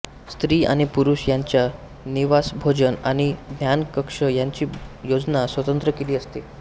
स्त्री आणि पुरुष यांच्या निवासभोजन आणि ध्यान कक्ष यांची योजना स्वतंत्र केलेली असते